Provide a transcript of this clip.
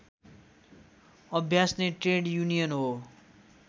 अभ्यास नै trade union हो